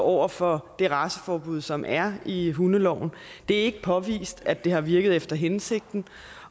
over for det raceforbud som er i hundeloven det er ikke påvist at det har virket efter hensigten